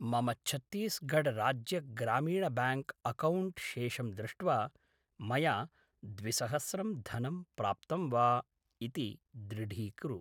मम छत्तिस्गढ राज्य ग्रामीण ब्याङ्क् अकौण्ट् शेषं दृष्ट्वा मया द्विसहस्रम् धनं प्राप्तं वा इति दृढीकुरु